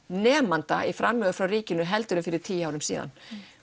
nemanda í framlögum frá ríkinu heldur en fyrir tíu árum síðan